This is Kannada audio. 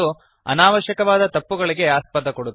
ಮತ್ತು ಇದು ಅನಾವಶ್ಯಕವಾದ ತಪ್ಪುಗಳಿಗೆ ಆಸ್ಪದ ಕೊಡುತ್ತದೆ